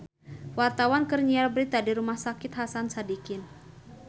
Wartawan keur nyiar berita di Rumah Sakit Hasan Sadikin